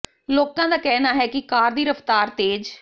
ਲੋਕਾਂ ਦਾ ਕਹਿਣਾ ਹੈ ਕਿ ਕਾਰ ਦੀ ਰਫਤਾਰ ਤੇਜ਼